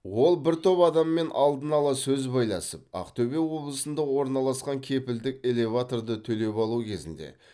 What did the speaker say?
ол бір топ адаммен алдын ала сөз байласып ақтөбе облысында орналасқан кепілдік элеваторды төлеп алу кезінде